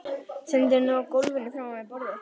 Stendur nú á gólfinu framan við borðið.